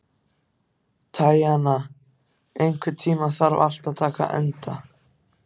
Tanya, einhvern tímann þarf allt að taka enda.